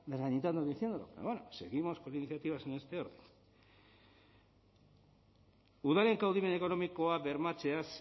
desacreditando diciéndolo pero bueno seguimos con iniciativas en este orden udaleko kaudimen ekonomikoa bermatzeaz